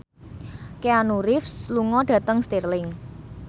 Keanu Reeves lunga dhateng Stirling